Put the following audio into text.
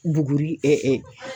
Buguri